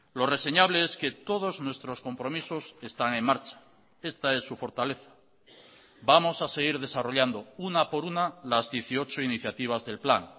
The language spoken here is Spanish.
lo reseñable es que todos nuestros compromisos están en marcha esta es su fortaleza vamos a seguir desarrollando una por una las dieciocho iniciativas del plan